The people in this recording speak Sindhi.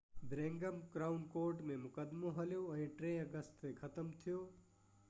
برمنگهم ڪرائون ڪورٽ ۾ مقدمو هليو ۽ 3 آگسٽ تي ختم ٿيو